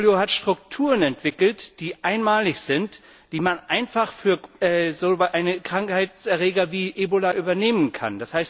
Polio hat Strukturen entwickelt, die einmalig sind, die man einfach für solche Krankheitserreger wie Ebola übernehmen kann.